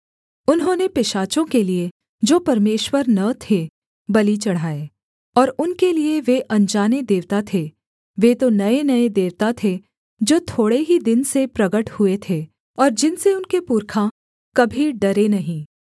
उन्होंने पिशाचों के लिये जो परमेश्वर न थे बलि चढ़ाए और उनके लिये वे अनजाने देवता थे वे तो नयेनये देवता थे जो थोड़े ही दिन से प्रगट हुए थे और जिनसे उनके पुरखा कभी डरे नहीं